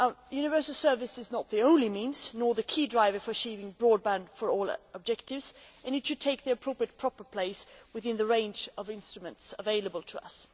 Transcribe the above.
Universal service is not the only means, nor the key driver, for achieving our Broadband for all' objectives, and it should take its appropriate, proper place within the range of instruments available to us.